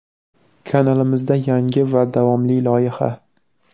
Kanalimizda yangi va davomli loyiha.